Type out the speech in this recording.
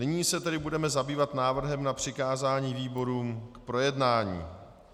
Nyní se tedy budeme zabývat návrhem na přikázání výborům k projednání.